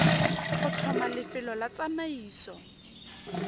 go tlhoma lefelo la tsamaiso